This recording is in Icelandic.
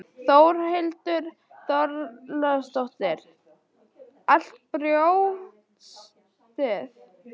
Þórhildur Þorkelsdóttir: Allt brjóstið?